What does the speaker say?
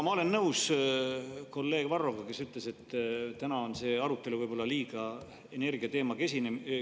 Ma olen nõus kolleeg Varroga, kes ütles, et täna on see arutelu võib-olla liiga energiateemakeskne.